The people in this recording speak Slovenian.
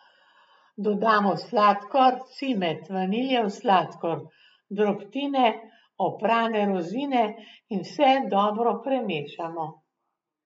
Dodamo sladkor, cimet, vaniljev sladkor, drobtine, oprane rozine in vse dobro premešamo.